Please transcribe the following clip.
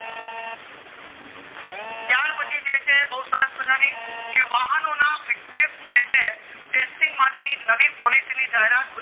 ત્યાર પછી જે છે બૌ સરસ મજાની કે વાહનોના fitness જે છે testing માટેની નવી policy ની જાહેરાત